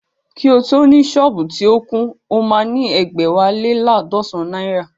Kí o tó ni sọ́ọ̀bù tí ó kún, o máa ní ẹ̀gbẹ́wá lé laadọsan náírà